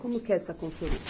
Como é que é essa conferência?